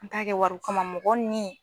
N t'a kɛ wariko kama mɔgɔ nin